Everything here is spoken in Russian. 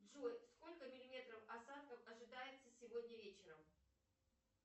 джой сколько миллиметров осадков ожидается сегодня вечером